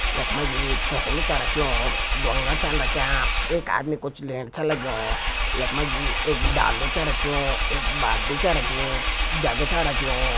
यक मजी थुकुलू च रख्युं बोंगा चन रख्यां। एक आदमी कुछ लेण छ लग्यूं। यक मजी एक डाल्लु च रख्युं एक बाल्टी च रखीं जग छ रख्युं।